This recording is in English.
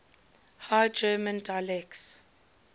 high german dialects